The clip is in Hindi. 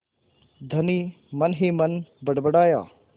धनी मनहीमन बड़बड़ाया